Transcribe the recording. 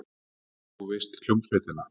Já, þú veist, hljómsveitina.